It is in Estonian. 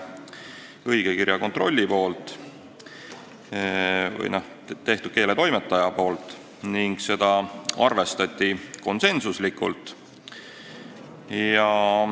Selle oli teinud õigekirjakontroll ehk keeletoimetaja ning seda arvestati konsensuslikult.